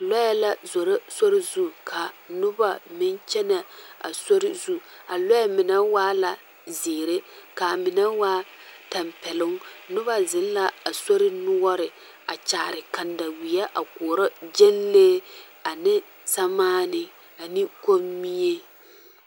Lɔɛ la zoro sori ka noba meŋ kyɛnɛ a sori zu a lɔɛ mine waa la zeere ka a mine waa tampeloŋ noba zeŋ la a sori noɔre a kyaare kanda weɛ a koɔrɔ gyanlee ane samaane ane kommie.